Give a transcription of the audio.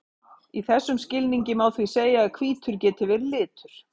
Í þessum skilningi má því segja að hvítur geti verið litur.